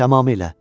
Tamamilə.